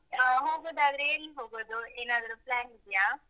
ಹ, ಹೋಗೂದಾದ್ರೆ ಎಲ್ ಹೋಗುದು ಏನಾದ್ರು plan ಇದ್ಯಾ?